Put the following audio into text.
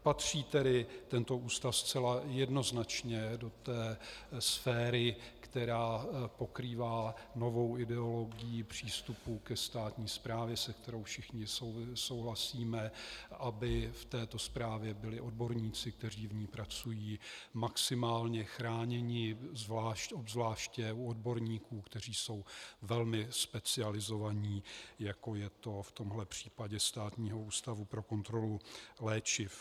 Patří tedy tento ústav zcela jednoznačně do té sféry, která pokrývá novou ideologii přístupu ke státní správě, se kterou všichni souhlasíme, aby v této správě byli odborníci, kteří v ní pracují, maximálně chráněni, obzvláště u odborníků, kteří jsou velmi specializovaní, jako je to v tomhle případě Státního ústavu pro kontrolu léčiv.